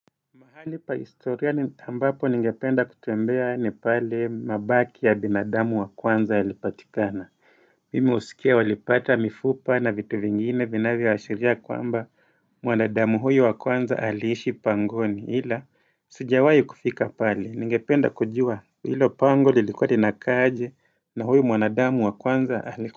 Mahali pa historia ambapo ningependa kutembea ni pale mabaki ya binadamu wa kwanza yalipatikana Mimi husikia walipata mifupa na vitu vingine vinavyoashiria kwamba mwanadamu huyu wa kwanza aliishi pangoni ila sijawai kufika pale ningependa kujua hilo pango lilikua linakaa aje, na huyu mwanadamu wa kwanza alikuwa.